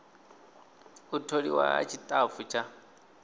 u tholiwa ha tshitafu tsha